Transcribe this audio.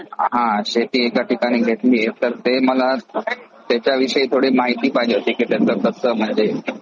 हां शेती एका ठिकाणी घेतलीये तर ते मला त्याच्याविषयी माहिती पाहिजे होती की म्हणजे ते कसं म्हणजे